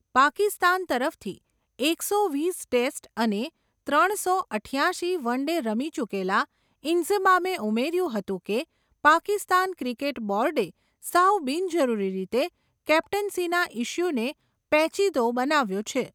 પાકિસ્તાન તરફથી, એકસો વીસ ટેસ્ટ અને, ત્રણ સો અઠયાશી વન ડે રમી ચૂકેલા, ઈન્ઝમામે ઉમેર્યું હતું, કે પાકિસ્તાન ક્રિકેટ બોર્ડે, સાવ બિનજરૂરી રીતે, કેપ્ટન્સીના ઈસ્યુને, પેચિદો બનાવ્યો છે.